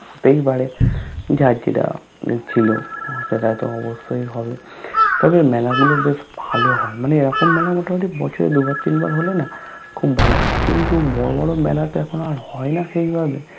হতেই পাড়ে যার যেটা ছিলো সেটা তো অবশ্যৈ হবে তবে মেলা গুলো বেশ ভালো হয় মানে এইরকম মেলা মোতা মতি বছরে দু বার তিন বার হোলে না খুব ভালো হয় কিন্তু বড়ো বড়ো মেলা তো এখন আর হয়না সেইভাবে